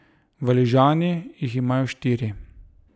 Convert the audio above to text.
Valižani jih imajo štiri.